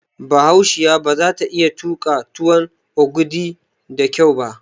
Bahaushiya baza ta iya tuƙa tuwon ogidi da kyau ba